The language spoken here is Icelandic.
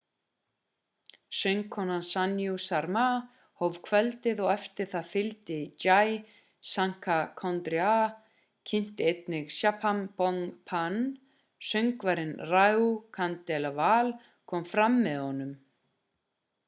söngkonan sanju sharma hóf kvöldið og eftir það fylgdi jai shankar choudhary kynnti einnig chhappan bhog bhajan söngvarinn raju khandelwal kom fram með honum